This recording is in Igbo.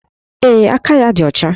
Ee, aka ya dị ọcha